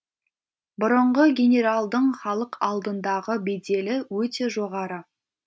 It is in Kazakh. бұрынғы генералдың халық алдындағы беделі өте жоғары